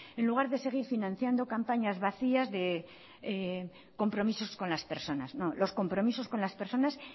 en lugar de seguir financiando campañas vacías de compromisos con las personas no los compromisos con las personas